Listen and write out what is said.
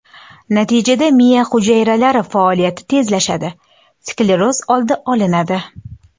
Natijada miya hujayralari faoliyati tezlashadi, skleroz oldi olinadi.